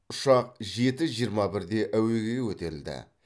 ұшақ жеті жиырма бірде әуеге көтерілді